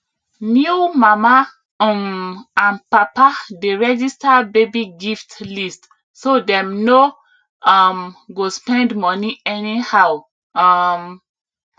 new mama um and papa dey register baby gift list so dem no um go spend money anyhow um